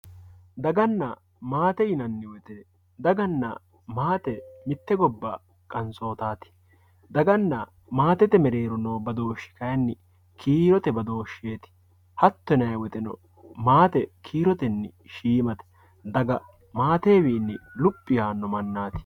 Dagana maate yinani woyite dagana maate mitte gobba qansotati dagana maatete gido noo badooshi kayini kiirote badoshet hatto yinayi woyiteno maate kiiroteni shiimate daga maatewini luphi yaano manati.